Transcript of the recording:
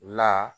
La